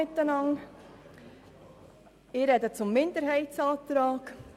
Ich spreche zum Minderheitsantrag.